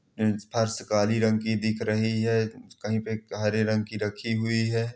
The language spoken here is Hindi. फर्श काली रंग की दिख रही है कही पे हरे रंग की रखी हुयी हैं।